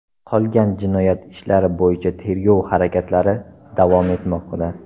Qolgan jinoyat ishlari bo‘yicha tergov harakatlari davom etmoqda.